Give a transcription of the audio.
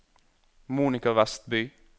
Monika Westby